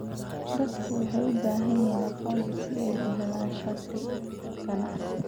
Dadku waxay u baahan yihiin aqoonsi si ay u helaan shati ganacsi.